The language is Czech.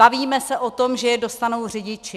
Bavíme se o tom, že je dostanou řidiči.